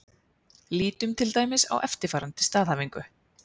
Lítum til dæmis á eftirfarandi staðhæfingu: